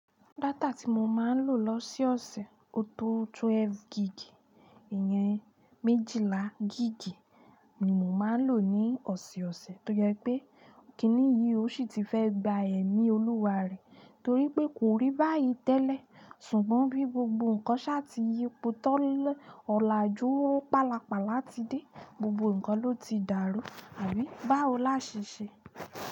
Data tí mo máa ń lò lọ́sẹ̀ ọ̀sẹ̀, ó tó twelve gig, ìyẹn méjìlá giigi ni mo máa ń lò ní ọ̀sẹ̀ ọ̀sẹ̀ toje pé kìní yìí ó sì ti fẹ́ gba ẹ̀mí Olúwa re torí pé kò rí báyìí tẹ́lẹ̀. Ṣùgbọ́n bi gbogbo nkan sa fi yipo tilọlaju palapala ti de, gbogbo nkan lo ti daru àbí, báwo laa se se.